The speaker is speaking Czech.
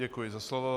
Děkuji za slovo.